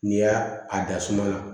N'i y'a a da suma la